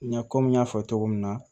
N ɲa komi n y'a fɔ cogo min na